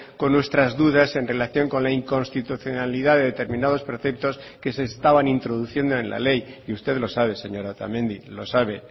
con nuestras dudas en relación con la inconstitucionalidad de determinados preceptos que se estaban introduciendo en la ley y usted lo sabe señora otamendi lo sabe